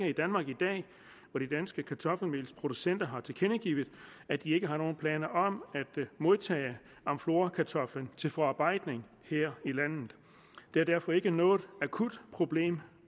i danmark i dag og de danske kartoffelmelsproducenter har tilkendegivet at de ikke har nogen planer om at modtage amflorakartoflen til forarbejdning her i landet det er derfor ikke noget akut problem